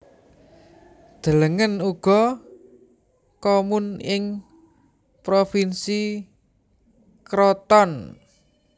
Delengen uga Comun ing Provinsi Crotone